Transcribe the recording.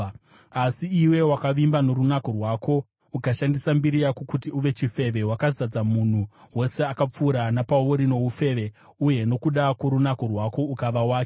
“ ‘Asi iwe wakavimba norunako rwako ukashandisa mbiri yako kuti uve chifeve. Wakazadza munhu wose akapfuura napauri noufeve uye nokuda kworunako rwako ukava wake.